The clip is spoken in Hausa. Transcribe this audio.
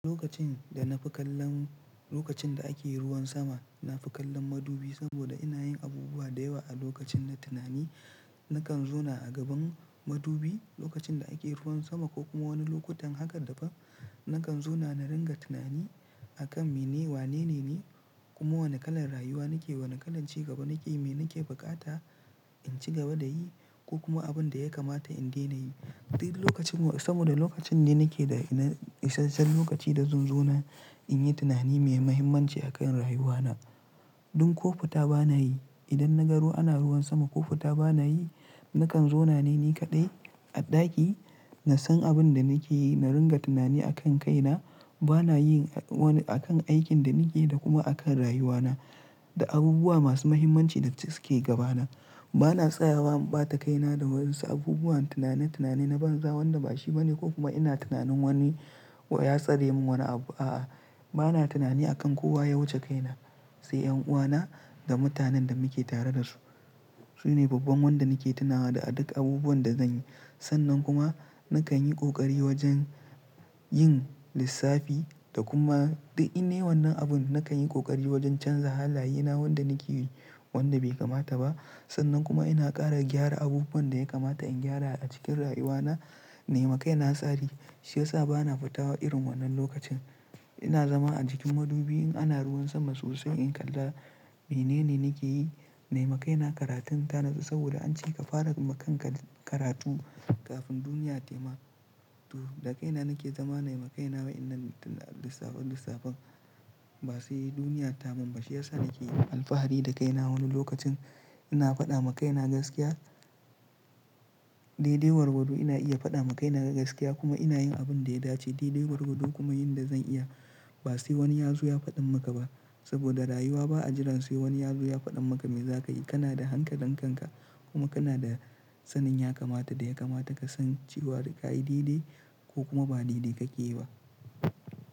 Lokacin da na fi kallon, lokacin da ake ruwan sama, na fi kallon madubi saboda ina yin abubuwa da yawa a lokacin na tunani. Nakan zauna a gaban madubi lokacin da ake ruwan sama ko kuma wani lokutan haka daban, nakan zauna na ringa tunani akan mene wanene ni, kuma wane kalar rayuwa nake, wane kalan ci gaba nake, me nake bukata in ci gaba da yi ko kuma abin da ya kamata in daina yi. Sai lokacin wa-- saboda lokacin da nake da ina, isashen lokaci da zan zauna in yi tunani me muhimmanci a kan rayuwana. Dun ƙo futa bana yi. Idan na ga ruwa ana ruwan sama ƙofuta bana yi, nakan zauna ne ni kaɗai a ɗaki na san abin da nake yi, na ringa tunani a kan kaina. Bana yin a wani, a kan aikin da nake da kuma a kan rayuwana da abubuwa masu muhimmanci da suke gaba na. Bana tsayawa ɓata kaina da wasu abubuwan tunanin tunani na banza wanda bashi bane ko kuma ina tunanin wani ya tsare min wani abu, a'a. Bana tunani akan kowa ya wuce kaina, sai ƴan'uwana da mutanen da muke tare da su. Su ne babban wanda nake tunawa da duk abubuwan da zanyi. Sannan kuma nakan yi ƙoƙari wajen yin lissafi da kuma, du inayi wanan abun nakan yi ƙoƙari wajen canza halaye na wanda nake yi wanda bai kamata ba. Sannan kuma ina ƙara gyara abubuwan da ya kamata in gyara a cikin rayuwana, na yi maka ina tsari. Shi yasa bana fita irin wannan lokacin. Ina zama a jikin madubi in ana ruwan sama sosai in kalla mene ne nake yi. Nayima kaina karatun ta natsu saboda an ce ka fara maka karatu kafin duniya tayi ma, tu, da kaina nake zama, na yi ma kaina wa'innan lissafin lissafin ba sai duniya ta munba. Shiyasa nake yin alfahari da kaina wani lokacin ina faɗa maka ina gaskiya. Daidai gwargwado ina iya faɗa ma kaina gaskiya kuma ina yin abin da ya dace daidai gwargwado kuma yin da zan iya. Ba sai wani ya zo ya faɗin maka ba saboda rayuwa ba a jiran sai wani ya zo ya faɗa maka me zaka yi. Kana da hankalin kankan kuma kana da sanin ya kamata da ya kamata ka san cewa daka yi daidai ko kuma ba daidai kake yi ba.